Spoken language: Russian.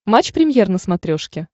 матч премьер на смотрешке